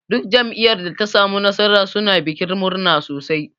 Duk jam'iyyar da ta samu nasara suna bikin murna sosai.